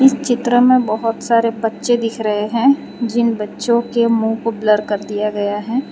चित्र में बहुत सारे बच्चे दिख रहे हैं जिन बच्चों के मुंह को ब्लर कर दिया गया है।